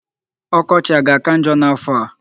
Ọkọchị a ga-aka njọ n'afọ a?